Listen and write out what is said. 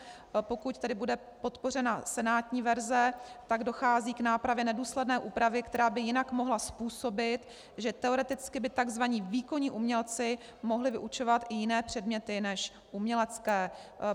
Pokud tedy bude podpořena senátní verze, tak dochází k nápravě nedůsledné úpravy, která by jinak mohla způsobit, že teoreticky by takzvaní výkonní umělci mohli vyučovat i jiné předměty než umělecké.